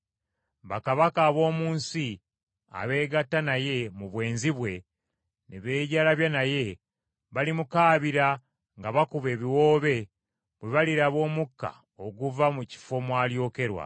“Bakabaka ab’omu nsi abeegatta naye mu bwenzi bwe ne beejalabya naye, balimukaabira nga bakuba ebiwoobe bwe baliraba omukka oguva mu kifo mw’alyokerwa.